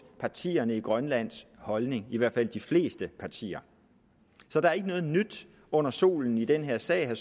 partierne i grønlands holdning i hvert fald de fleste partiers så der er ikke noget nyt under solen i den her sag vil